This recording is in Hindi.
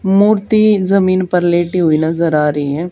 मूर्ति जमीन पर लेटी हुई नजर आ रही है।